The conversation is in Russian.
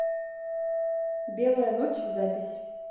белая ночь запись